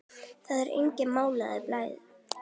Það er enginn málaður blár.